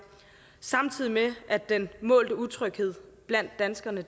samtidig med at den målte utryghed blandt danskerne